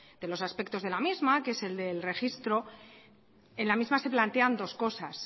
de los aspectos de la misma que es el del registro en la misma se plantean dos cosas